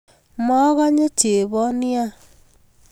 Mogonye chebon nia